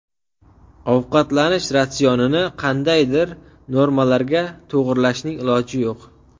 Ovqatlanish ratsionini qandaydir normalarga to‘g‘irlashning iloji yo‘q.